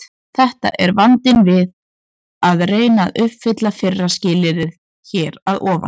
Þetta er vandinn við að reyna að uppfylla fyrra skilyrðið hér að ofan.